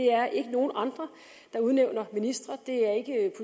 er ikke nogen andre der udnævner ministre det er ikke